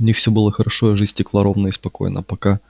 у них все было хорошо и жизнь текла ровно и спокойно пока